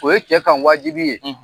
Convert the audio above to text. O ye cɛ kan wajibi ye;